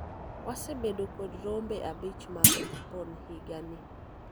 wasebedo kod rombe abich mag jipon higa ni